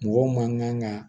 Mɔgɔ man kan ka